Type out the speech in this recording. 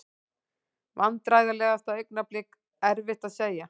Vandræðalegasta augnablik: Erfitt að segja.